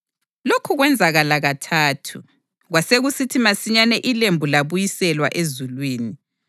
Lokhu kwenzakala kathathu, kwasekusithi masinyane ilembu labuyiselwa ezulwini.